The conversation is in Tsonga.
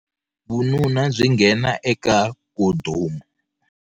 Vununa byi nghena eka khondhomu.